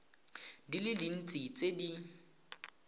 di le dintsi tse di